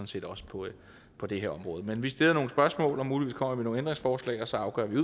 set også på på det her område men vi vil stille nogle spørgsmål og kommer muligvis med nogle ændringsforslag og så afgør vi